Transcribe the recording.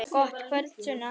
Gott kvöld, Sunna.